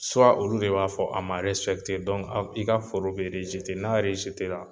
olu de b'a fɔ a man i ka foro bɛ n'a la.